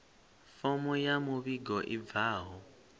fomo ya muvhigo i bvaho